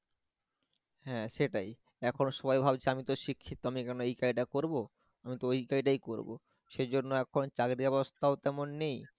হ্যাঁ সেটাই এখন সবাই ভাবছে আমি তো শিক্ষিত, আমি কেন এ কাজটা করব? আমি তো ওই কাজডাই করবো সেই জন্য এখন চাকরির অবস্থাও যেমন নেই